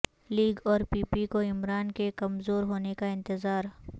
league اور P P کو عمران کے کمزور ہونے کا انتظار